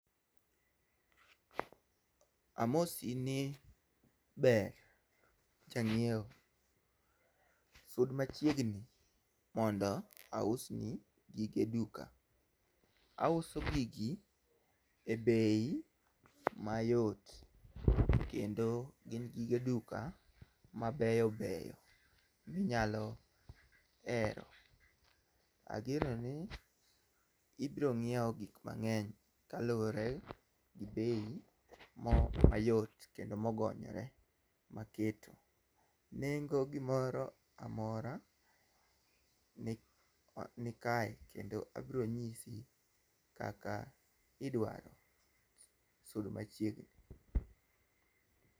Amosi ni ber janyiewo. Sud machiegni mondo ausni gige duka. Auso gigi e bei mayot kendo gin gige duka mabeyobeyo minyalo hero. Ageno ni ibro nyiewo gik mang'eny kaluwore gi bei mayot kendo mogonyore maketo. Nengo gimoro amora nikae kendo abro nyisi kaka idwaro, sud machiegni.